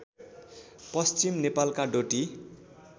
पश्चिम नेपालका डोटी